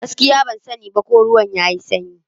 Gaskiya! Ban sani ba ko ruwan yayi sanyi.